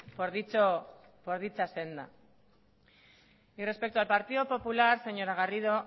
por dicha senda y respecto al partido popular señora garrido